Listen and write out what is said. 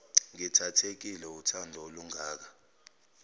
ngithathekile wuthando olungaka